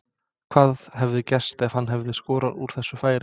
Hvað hefði gerst ef hann hefði skorað úr þessu færi?